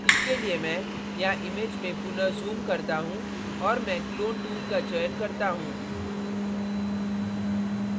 इसके लिए मैं यहाँ image में पुनः zoom करता हूँ और मैं clone tool का चयन करता हूँ